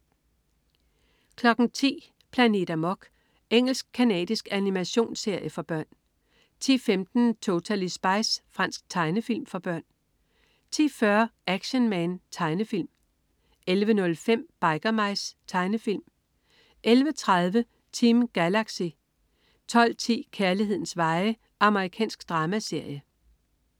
10.00 Planet Amok. Engelsk-canadisk animationsserie for børn 10.15 Totally Spies. Fransk tegnefilm for børn 10.40 Action Man. Tegnefilm 11.05 Biker Mice. Tegnefilm 11.30 Team Galaxy 12.10 Kærlighedens veje. Amerikansk dramaserie